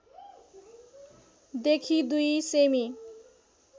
देखि दुई सेमी